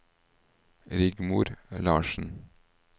Rigmor Larsen